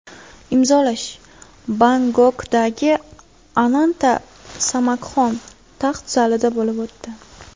Imzolash Bangkokdagi Ananta Samakxom taxt zalida bo‘lib o‘tdi.